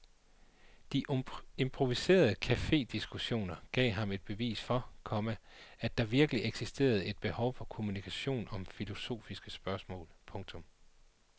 De improviserede cafediskussioner gav ham et bevis for, komma at der virkelig eksisterer et behov for kommunikation om filosofiske spørgsmål. punktum